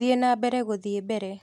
Thĩ na mbere guthiĩ mbere